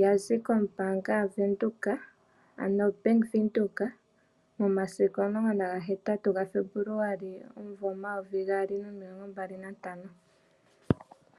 ya zi kombaanga yaVenduka ano oBank Windhoek momasiku o18 gaFebuluali omumvo 2025